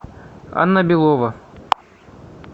анна белова